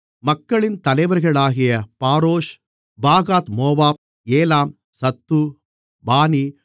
மக்களின் தலைவர்களாகிய Parosh Pahathmoab Elam Zattu பானி